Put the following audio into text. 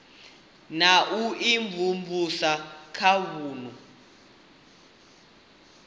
na u imvumvusa kha vunu